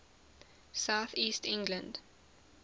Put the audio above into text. south east england